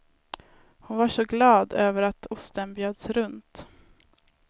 Hon var så glad över att osten bjöds runt.